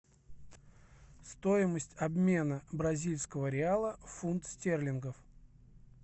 стоимость обмена бразильского реала фунт стерлингов